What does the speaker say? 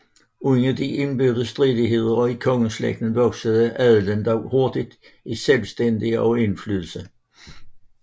Under de indbyrdes stridigheder i kongeslægten voksede adelen dog hurtig i selvstændighed og indflydelse